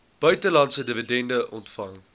buitelandse dividende ontvang